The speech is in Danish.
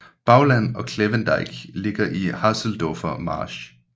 Bauland og Klevendeich ligger i Haseldorfer Marsch